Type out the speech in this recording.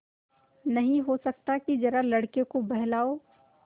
नहीं हो सकता कि जरा लड़के को बहलाओ